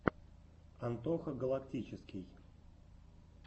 антоха галактический